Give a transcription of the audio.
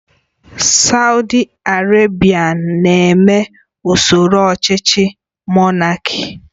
Saudi Arabia na-eme usoro ọchịchị Monáki